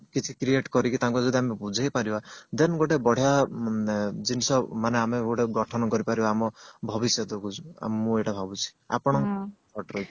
କିଛି create କରିକି ତାଙ୍କୁ ଯଦି ଆମେ ବୁଝେଇ ପାରିବା then ଗୋଟେ ବଢିଆ ଜିନିଷ ଆମେ ଗୋଟେ ଗଠନ କରି ପାରିବା ଆମ ଭବିଷ୍ୟତ କୁ ମୁଁ ଏଇଟା ଭାବୁଛି